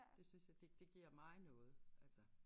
Det synes jeg det det giver mig noget altså